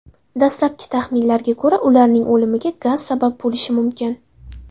Dastlabki taxminlarga ko‘ra, ularning o‘limiga gaz sabab bo‘lishi mumkin.